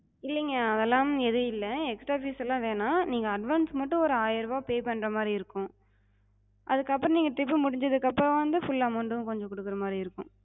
இல்லிங்க அதெல்லா எது இல்ல. extra fees எல்லா வேணா. நீங்க advance மட்டு ஒரு ஆயிரரூபா pay பண்றமாரி இருக்கு. அதுக்கு அப்றோ நீங்க trip முடிஞ்சதுக்கு அப்றோ வந்து full amount கொஞ்சம் குடுக்குறமாரி இருக்கு.